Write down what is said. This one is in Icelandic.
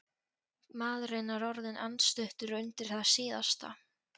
Maðurinn er orðinn andstuttur undir það síðasta.